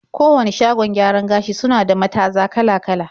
Kowane shagon gyaran gashi suna da mataza kala-kala.